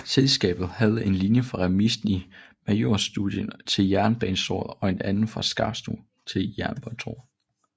Selskabet havde en linje fra remisen i Majorstuen til Jernbanetorget og en anden fra Skarpsno til Jernbanetorget